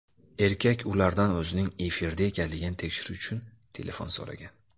Erkak ulardan o‘zining efirda ekanligini tekshirish uchun telefon so‘ragan.